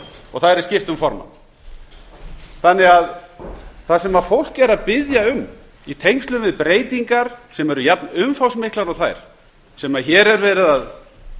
og það yrði skipt um formann það sem fólk er að biðja um í tengslum við breytingar sem eru jafnumfangsmiklar og þær sem hér er verið að